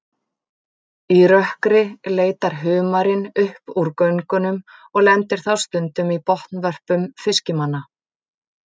Í rökkri leitar humarinn upp úr göngunum og lendir þá stundum í botnvörpum fiskimanna.